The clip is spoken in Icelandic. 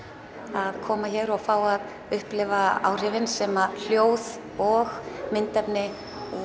að koma hér og fá að upplifa áhrifin sem hljóð og myndefni